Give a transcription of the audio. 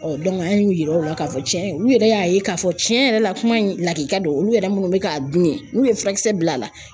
an y'u yira u la k'a fɔ cɛn olu yɛrɛ y'a ye k'a fɔ cɛn yɛrɛ la kuma in lakika do olu yɛrɛ minnu bɛ k'a dun ye n'u ye furakisɛ bila a la